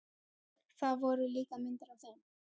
Það voru líka myndir af þeim.